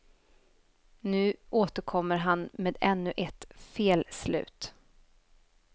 Nu återkommer han med ännu ett felslut.